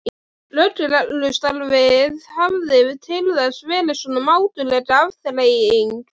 Lögreglustarfið hafði til þessa verið svona mátuleg afþreying.